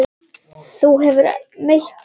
Þú hefur meitt þig!